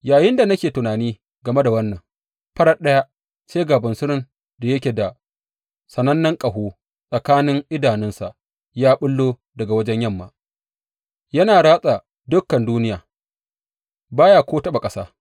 Yayinda nake tunani game da wannan, farat ɗaya sai ga bunsurun da yake da sanannen ƙaho tsakanin idanunsa ya ɓullo daga wajen yamma, yana ratsa dukan duniya ba ya ko taɓa ƙasa.